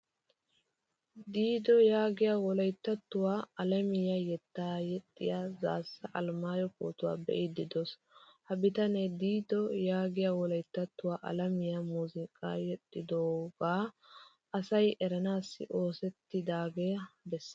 Dido yaagiyaa wolayttawttuwaa alamiyaa yettaa yeexxiya zassa alemayo pootuwaa be'idio deos. Ha bitane dido yaagiyaa woalyttattuwaa alamiyaa muuzzuqqa yexxidoga asay eranassi oosettidaga bessees.